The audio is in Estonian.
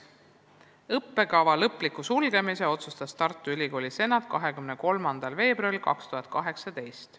" Õppekava lõpliku sulgemise otsustas Tartu Ülikooli senat 23. veebruaril 2018.